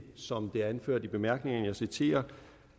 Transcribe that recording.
som det er anført i bemærkningerne og jeg citerer